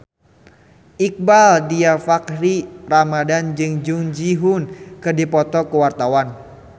Iqbaal Dhiafakhri Ramadhan jeung Jung Ji Hoon keur dipoto ku wartawan